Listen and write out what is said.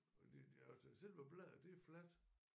Fordi det altså selve bladet det er fladt